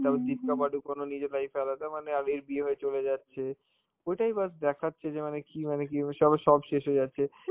তারপর দীপিকা পাডুকোন ও নিজের life এ আলাদা মানে আর এর বিয়ে হয়ে চলে যাচ্ছে, কোথায় বাস দেখাচ্ছে যে মানে কি মানে সবার সব শেষ হয়ে যাচ্ছে,